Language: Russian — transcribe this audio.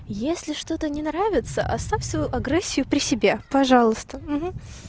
если что-то не нравится оставь свою агрессию при себе пожалуйст